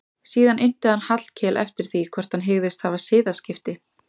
Síðan innti hann Hallkel eftir því hvort hann hygðist hafa siðaskipti.